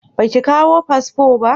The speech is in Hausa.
Ba ki kawo fasfo ba?